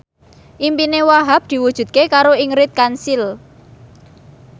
impine Wahhab diwujudke karo Ingrid Kansil